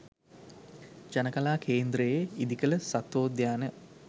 ජනකලා කේන්ද්‍රයේ ඉදිකළ සත්වෝද්‍යාන